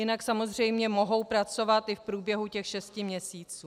Jinak samozřejmě mohou pracovat i v průběhu těch šesti měsíců.